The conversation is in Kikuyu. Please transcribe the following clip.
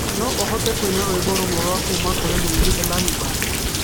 No ũhote kũina rwĩmbo rũmwe rwa kuuma kũrĩ mũini Elani Band